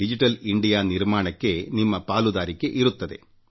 digital India ನಿರ್ಮಾಣಕ್ಕೆ ನಿಮ್ಮ ಪಾಲುದಾರಿಕೆ ಇರುತ್ತದೆ